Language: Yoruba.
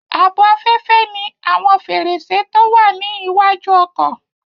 Ààbò afẹ́fẹ́ ní àwọn fèrèsé tó wà ní iwájú ọkọ̀